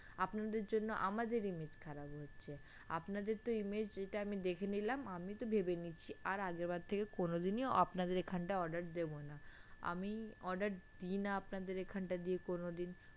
আপনাদের জন্য আমাদের image খারাপ হচ্ছে আপনাদেরতো image যেটা আমি দেখে নিলাম আমি তো ভেবেই নিয়েছি আর আগেরবার থেকে কোনোদিনই আপনাদের এখান থেকে order দেবোনা, আমি order দিনা আপনাদের এখানটা দিয়ে কোনোদিন।